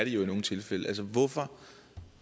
jo i nogle tilfælde hvorfor